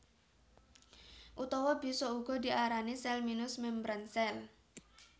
Utawa bisa uga diarani sèl minus membran sèl